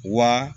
Wa